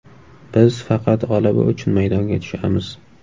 Biz faqat g‘alaba uchun maydonga tushamiz.